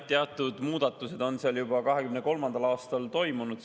Teatud muudatused on seal juba 2023. aastal toimunud.